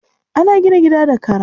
An gina gida da kara.